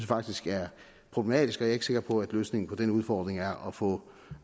faktisk er problematisk og jeg ikke sikker på at løsningen på den udfordring er at få